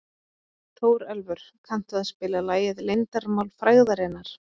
Þórelfur, kanntu að spila lagið „Leyndarmál frægðarinnar“?